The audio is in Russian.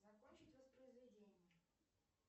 закончить воспроизведение